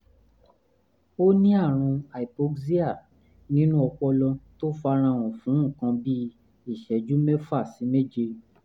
ó ní àrùn hypoxia nínú ọpọlọ tó farahàn fún nǹkan bí ìṣẹ́jú mẹ́fà sí méje